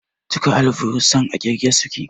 Duka alburusan a ƙirge suke